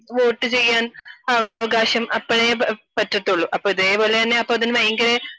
Vote ചെയ്യാൻ അവകാശം അപ്പോഴേ പറ്റത്തുള്ളു . അപ്പോ ഇതേ പോലെ തന്നെ ഇതിനു ഭയങ്കര